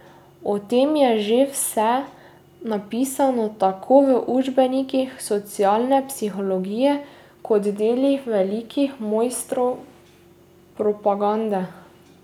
O tem je že vse napisano tako v učbenikih socialne psihologije kot delih velikih mojstrov propagande.